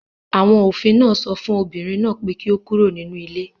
Àwọn òfin náà sọ fún obìnrin náà pé kí ó kúrò nínú ilé